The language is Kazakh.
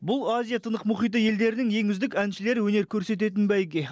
бұл азия тынық мұхиты елдерінің ең үздік әншілері өнер көрсететін бәйге